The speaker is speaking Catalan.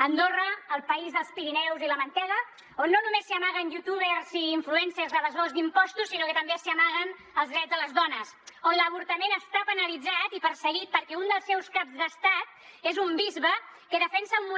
andorra el país dels pirineus i la mantega on no només s’hi amaguen youtubers i influencers evasors d’impostos sinó que també s’hi amaguen els drets de les dones on l’avortament està penalitzat i perseguit perquè un dels seus caps d’estat és un bisbe que defensa un